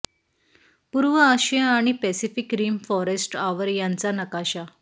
पूर्व आशिया आणि पॅसिफिक रिम फॉरेस्ट आवर यांचा नकाशा